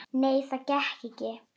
Nei, það gekk ekki.